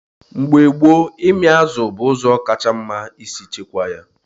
Mgbe gboo, ịmị azụ bụ ụzọ kacha mma isi chekwaa ya.